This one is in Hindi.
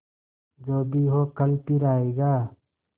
जो भी हो कल फिर आएगा